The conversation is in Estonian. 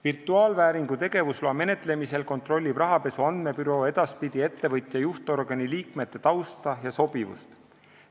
Virtuaalvääringu tegevusloa menetlemisel kontrollib rahapesu andmebüroo edaspidi ettevõtja juhtorgani liikmete tausta ja sobivust.